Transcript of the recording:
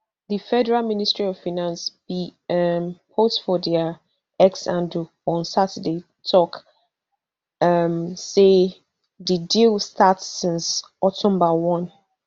di federal ministry of financebin um post for dia x handleon saturday tok um say di deal start since october one